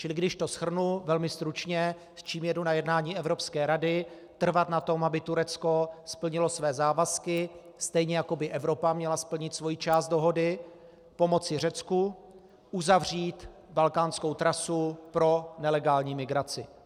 Čili když to shrnu velmi stručně, s čím jedu na jednání Evropské rady: Trvat na tom, aby Turecko splnilo své závazky, stejně jako by Evropa měla splnit svoji část dohody, pomoci Řecku, uzavřít balkánskou trasu pro nelegální migraci.